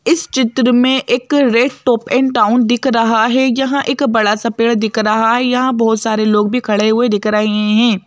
इस चित्र में एक रेड टॉप एंड टाउन दिख रहा है यहां एक बड़ा सा पेड़ दिख रहा है यहां बहुत सारे लोग भी खड़े हुए दिख रहे हैं।